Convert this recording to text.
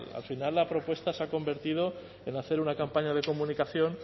al final la propuesta se ha convertido en hacer una campaña de comunicación